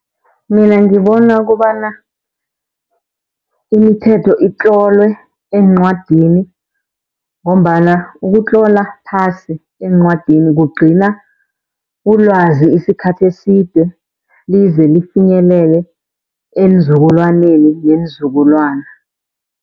Mina ngibona kobana imithetho itlolwe eencwadini, ngombana ukutlola phasi encwadini kugcina ulwazi isikhathi eside lize lifinyelele eenzukulwaneni neenzukulwana.